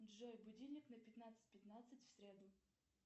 джой будильник на пятнадцать пятнадцать в среду